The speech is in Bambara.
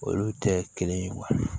Olu tɛ kelen ye